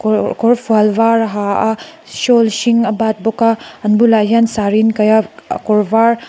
kawrfual var a ha a shawl hring a bat bawk a an bualah hian saree an kaih a kawr var--